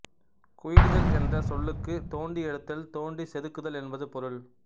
குயிலுதல் என்ற சொல்லுக்குத் தோண்டி எடுத்தல் தோண்டிச் செதுக்குதல் என்பது பொருள்